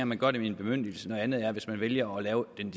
man gør det med en bemyndigelse noget andet er hvis man vælger at lave den